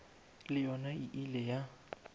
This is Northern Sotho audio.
le yona e ile ya